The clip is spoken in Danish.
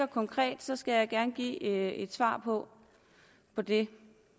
konkret skal jeg gerne give et svar på det